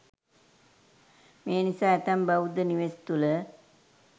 මේ නිසා ඇතැම් බෞද්ධ නිවෙස් තුළ